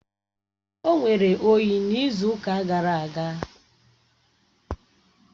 O nwere oyi n’izu ụka gara aga